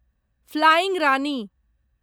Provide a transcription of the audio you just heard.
flying Rani